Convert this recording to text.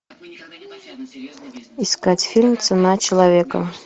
искать фильм цена человека